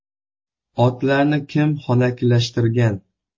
Otlarni kim xonakilashtirgan?